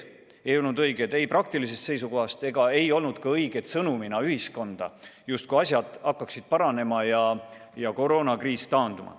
Need polnud õiged ei praktilisest seisukohast ega õiged ka sõnumina ühiskonnale, justkui asjad hakkaksid paranema ja koroonakriis taanduma.